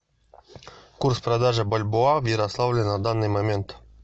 курс продажи бальбоа в ярославле на данный момент